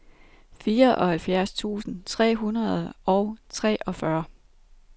fireoghalvfjerds tusind tre hundrede og treogfyrre